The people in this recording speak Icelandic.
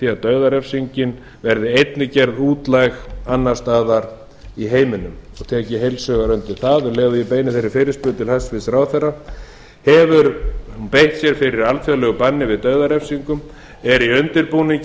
því að dauðarefsingin verði einnig gerð útlæg annars staðar í heiminum og tek ég heils hugar undir það um leið og ég beini þeirri fyrirspurn til hæstvirts ráðherra hefur ráðherra beitt sér fyrir alþjóðlegu banni við dauðarefsingum er í undirbúningi